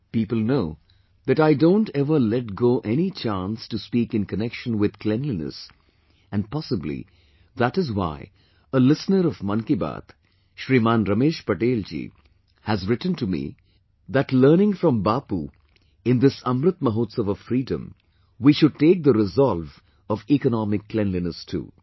people know that I don't ever let go any chance to speak in connection with cleanliness and possibly that is why a listener of 'Mann Ki Baat', Shriman Ramesh Patel ji has written to me that learning from Bapu, in this "Amrit Mahotsav" of freedom, we should take the resolve of economic cleanliness too